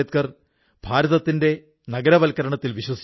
ഒരുകാലത്ത് നാം വിദേശത്തുനിന്ന് പെൻസിലിനായി തടി കൊണ്ടുവന്നിരുന്നു